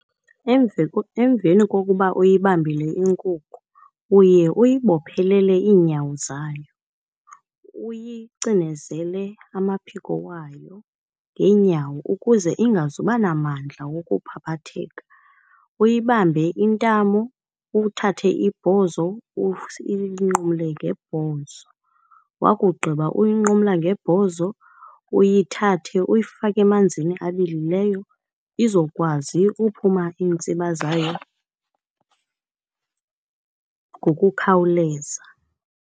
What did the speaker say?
Emveni kokuba uyibambile inkukhu, uye uyibophelele iinyawo zayo, uyicinezele amaphiko wayo ngeenyawo ukuze ingazuba namandla wokuphaphatheka. Uyibambe intamo, uthathe ibhozo uyinqumle ngebhozo. Wakugqiba uyinqumla ngebhozo uyithathe uyifake emanzini abilileyo izokwazi uphuma iintsiba zayo ngokukhawuleza.